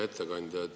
Hea ettekandja!